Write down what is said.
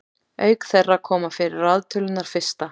auk þeirra koma fyrir raðtölurnar fyrsta